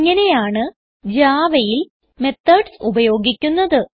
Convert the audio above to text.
ഇങ്ങനെയാണ് Javaയിൽ മെത്തോഡ്സ് ഉപയോഗിക്കുന്നത്